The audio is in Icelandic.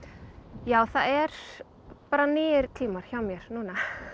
já það eru bara nýir tímar hjá mér núna